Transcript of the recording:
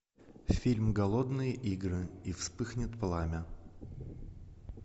фильм голодные игры и вспыхнет пламя